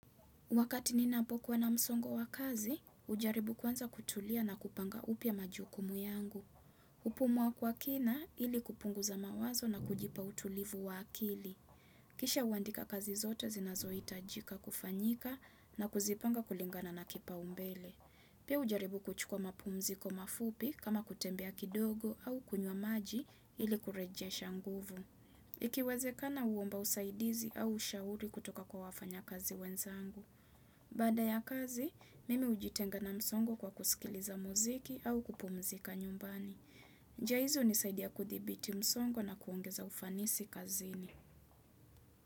Wakati nina po kuwa na msongo wa kazi, ujaribu kwanza kutulia na kupanga upya majukumu yangu. Upumua kwa kina ili kupungu za mawazo na kujipa utulivu wa akili. Kisha uandika kazi zote zinazoi tajika kufanyika na kuzipanga kulingana na kipa umbele. Pia ujaribu kuchukua mapumziko mafupi kama kutembea kidogo au kunywa maji ili kureje shanguvu. Ikiweze kana uomba usaidizi au ushauri kutoka kwa wafanya kazi wenzangu. Baada ya kazi, mimi ujitenga na msongo kwa kusikiliza muziki au kupu mzika nyumbani. Njia hizi uni saidia kuthibiti msongo na kuongeza ufanisi kazini.